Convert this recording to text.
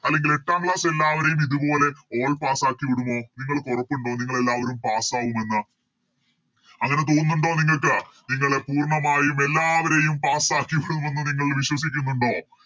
അല്ലെങ്കില് എട്ടാം Class എല്ലാവരെയും ഇതുപോലെ All pass ആക്കി വിടുമോ നിങ്ങൾക്ക് ഉറപ്പുണ്ടോ നിങ്ങളെല്ലാവരും Pass ആകുമെന്ന് അങ്ങനെ തോന്നുണ്ടോ നിങ്ങൾക്ക് നിങ്ങളെ പൂർണ്ണമായും എല്ലാവരെയും Pass ആക്കി വിടുമെന്ന് നിങ്ങൾ വിശ്വസിക്കുന്നുണ്ടോ